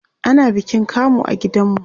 ana bikin kamu a gidan mu